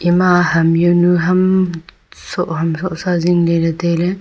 ma ham yaonu ham soh ham soh sa zingley lay tailey.